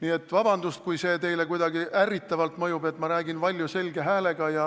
Nii et vabandust, kui teile kuidagi ärritavalt mõjub see, et ma räägin valju selge häälega ja